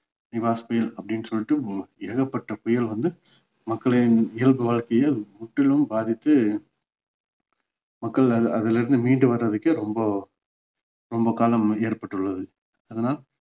நிவாஸ் புயல் அப்படின்னு சொல்லிட்டு ஏகப்பட்ட புயல் வந்து மக்களின் இயல்பு வாழ்க்கைய முற்றிலும் பாதித்து மக்கள் அ~ அதுல இருந்து மீண்டு வர்றதுக்கே ரொம்ப ரொம்ப காலம் ஏற்பட்டுள்ளது அதனால்